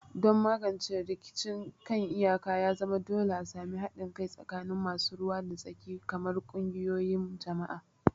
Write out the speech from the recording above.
Don magance rikicin kan iyaka, ya zama dole a sami haɗin kai tsakanin masu ruwa da tsaki kamar ƙungiyoyin jama'a.